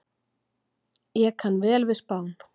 Ég kann vel við Spán.